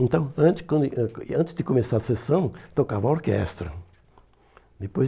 Então, antes de antes de começar a sessão, tocava orquestra. Depois